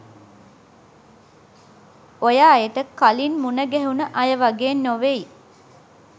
ඔය අයට කලින් මුන ගැහුන අය වගේ නොවෙයි.